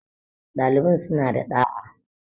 ɗaliban sun a da ɗa'a